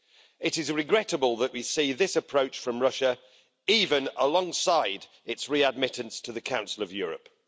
It is regrettable that we see this approach from Russia even alongside its re-admittance to the Council of Europe.